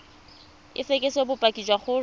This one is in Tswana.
o fekese bopaki jwa gore